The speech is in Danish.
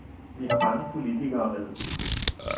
Vi har mange politikere med.